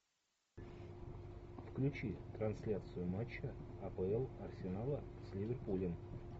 включи трансляцию матча апл арсенала с ливерпулем